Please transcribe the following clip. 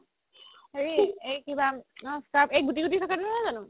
হেৰি এই কিবা scrub এই গুতি গুতি থকাটো নহয় জানো?